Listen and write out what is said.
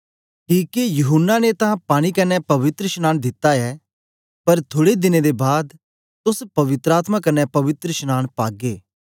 किके यूहन्ना ने तां पानी कन्ने पवित्रशनांन दित्ता ऐ पर थुड़े दिने दे बाद तोस पवित्र आत्मा कन्ने पवित्रशनांन पागे